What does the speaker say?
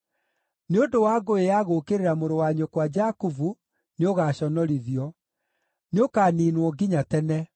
Nĩ ũndũ wa ngũĩ ya gũũkĩrĩra mũrũ wa nyũkwa Jakubu, nĩũgaconorithio; nĩũkaniinwo nginya tene.